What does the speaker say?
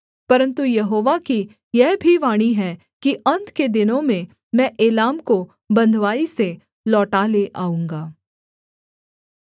परन्तु यहोवा की यह भी वाणी है कि अन्त के दिनों में मैं एलाम को बँधुआई से लौटा ले आऊँगा